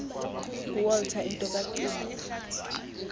nguwalter into kacingo